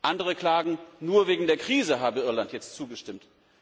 Andere klagen, nur wegen der Krise habe Irland jetzt zugestimmt.